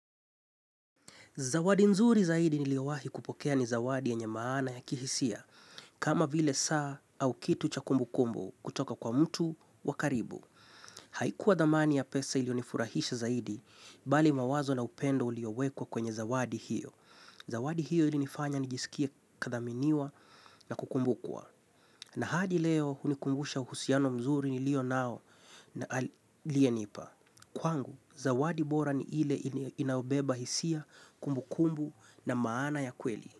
Zawadi nzuri zaidi niliowahi kupokea ni zawadi yenye maana ya, kihisia. Kama vile saa au kitu cha kumbu kumbu kutoka kwa mtu wa karibu. Haikuwa dhamani ya pesa ilionifurahisha zaidi, bali mawazo na upendo uliowekwa kwenye zawadi hiyo. Zawadi hiyo ilinifanya nijisikie kathaminiwa na kukumbukwa. Na hadi leo, unikumbusha uhusiano mzuri nilionao na aliyenipa. Kwangu, zawadi bora ni ile inaobeba hisia, kumbukumbu na maana ya kweli.